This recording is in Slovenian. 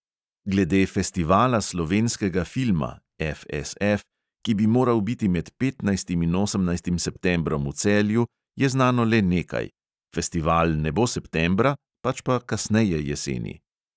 Glede festivala slovenskega filma ki bi moral biti med petnajstim in osemnajstim septembrom v celju, je znano le nekaj: festival ne bo septembra, pač pa kasneje jeseni.